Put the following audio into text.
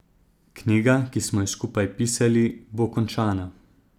Knjiga, ki smo jo skupaj pisali, bo končana.